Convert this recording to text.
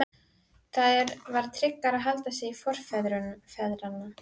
Það var tryggara að halda sig við forfeðurna.